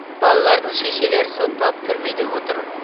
балалардың шешелері сотталып түрмеде отыр